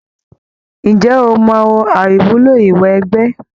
Ǹjẹ́ o mọ àìwúlò ìwẹgbẹ́?